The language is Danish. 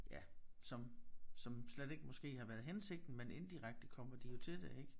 Ja som som slet ikke måske har været hensigten men indirekte kommer de jo til det ik